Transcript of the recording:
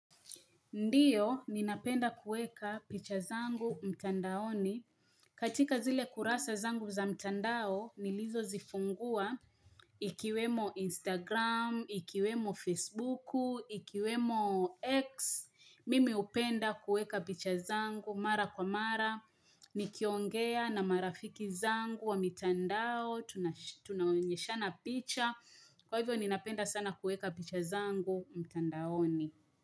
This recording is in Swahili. Ndiyo, ninapenda kueka picha zangu mtandaoni. Katika zile kurasa zangu za mtandao, nilizozifungua ikiwemo Instagram, ikiwemo Facebuku, ikiwemo X. Mimi hupenda kueka picha zangu mara kwa mara. Nikiongea na marafiki zangu wa mtandao, tunaonyeshana picha. Kwa hivyo, ninapenda sana kueka picha zangu mtandaoni.